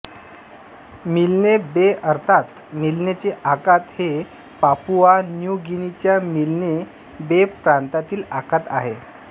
मिल्ने बे अर्थात मिल्नेचे आखात हे पापुआ न्यू गिनीच्या मिल्ने बे प्रांतातील आखात आहे